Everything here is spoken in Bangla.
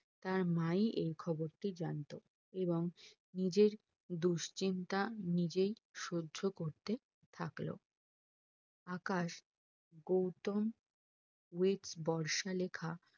তার মা ই এই খবর টি জানতো এবং নিজের দুশ্চিন্তা নিজেই সহ্য করতে থাকলো আকাশ গৌতম with বর্ষা লেখা